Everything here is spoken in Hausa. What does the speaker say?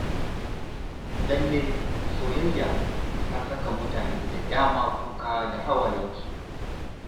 Lalle soyayya ta saka mutane da dama kuka da hawayensu.